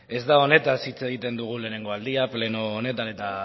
ez da honetaz hitz egiten dugun lehenengo aldia pleno honetan eta